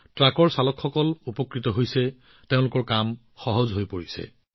truck চালকসকলেও ইয়াৰ পৰা বহু উপকৃত হৈছে তেওঁলোকৰ জীৱনটো সহজ হৈ পৰিছে